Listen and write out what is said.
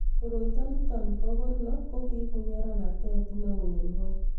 koroito nito bo korno ko kiibu nyeranet neoo eng' ng'ony